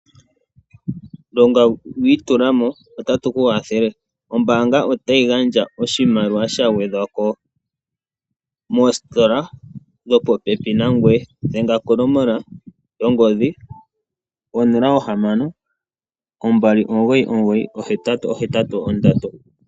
Longa wiitulamo otatu ku kwathele ombaanga otayi gandja oshimaliwa sha gwedhwako moositola dhopopèpi nagweye dhenga kongodhi 0812998883.